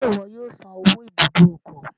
Ṣe iwọ yóò san owó ibùdó ọkọ?